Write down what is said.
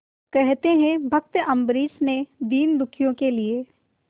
कहते हैं भक्त अम्बरीश ने दीनदुखियों के लिए